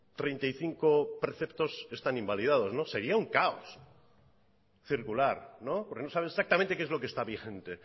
treinta y cinco preceptos están invalidados sería un caos circular porque no saben exactamente qué es lo que está vigente